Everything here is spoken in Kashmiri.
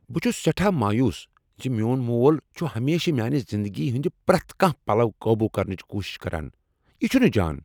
بہٕ چھس سیٹھاہ مایوس زِ میون مول ہمیشہٕ میانِہ زندگی ہند پریتھ کانٛہہ پلو قابو کرنچ کوشش چھ کران۔ یِہ چُھنہٕ جان۔